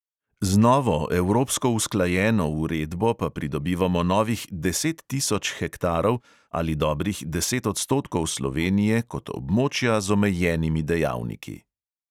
Z novo, evropsko usklajeno uredbo pa pridobivamo novih deset tisoč hektarov ali dobrih deset odstotkov slovenije kot območja z omejenimi dejavniki.